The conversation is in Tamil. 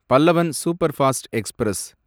Pallavan superfast express